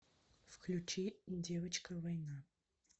включи девочка война